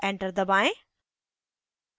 enter दबाएं